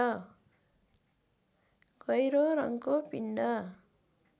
गहिरो रङ्को पिण्ड